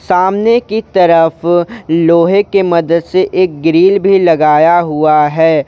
सामने की तरफ लोहे के मदद से एक ग्रिल भी लगाया हुआ है।